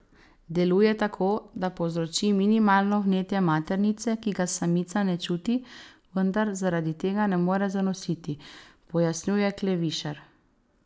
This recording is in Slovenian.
Deluje tako, da povzroči minimalno vnetje maternice, ki ga samica ne čuti, vendar zaradi tega ne more zanositi, pojasnjuje Klevišar.